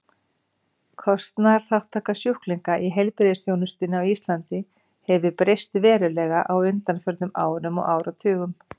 Kostnaðarþátttaka sjúklinga í heilbrigðisþjónustunni á Íslandi hefur breyst verulega á undanförnum árum og áratugum.